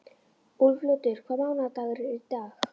Úlfljótur, hvaða mánaðardagur er í dag?